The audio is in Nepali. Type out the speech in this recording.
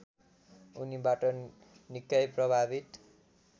उनीबाट निकै प्रभावित